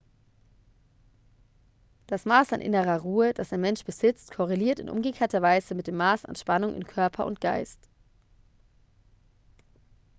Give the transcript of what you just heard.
das maß an innerer ruhe das ein mensch besitzt korreliert in umgekehrter weise mit dem maß an spannung in körper und geist